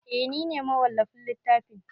Eh nine mawallafin littafin